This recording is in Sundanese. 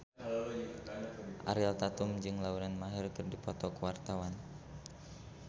Ariel Tatum jeung Lauren Maher keur dipoto ku wartawan